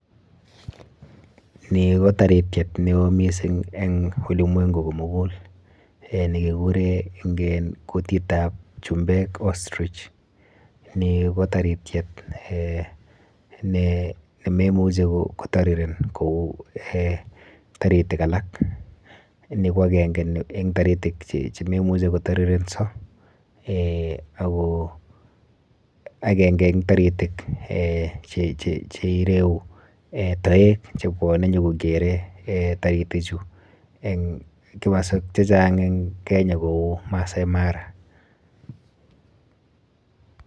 Ni ko tarityet neo mising eng ulimwengu komukul nekikure eng kutitap chumbek ostrich. Ni ko tarityet eh ne memuchi kotariren kou eh taritik alak. Ni ko akenke eng taritik chememuchi kotarirenso eh ako akenke eng taritik eh cheireu eh toek chebwone nyokokere eh taritichu eng kimaswek chechang eng Kenya kou Maasai Mara.